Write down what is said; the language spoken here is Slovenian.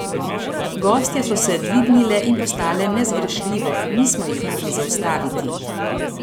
Gostje so se dvignile in postale nezgrešljive, nismo jih mogli zaustaviti.